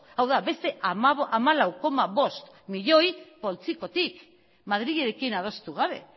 hau da beste hamalau koma bost milioi poltsikotik madrilekin adostu gabe